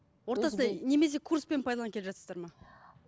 немесе курспен пайдаланып келе жатырсыздар ма